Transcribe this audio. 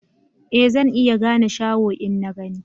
Ee zan iya gane shaho in na gani